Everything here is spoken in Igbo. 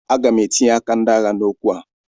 Aga m etinye aka ndị agha n'okwu a